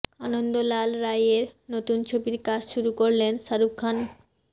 আনন্দ লাল রাইয়ের নতুন ছবির কাজ শুরু করলেন শাহরুখ খান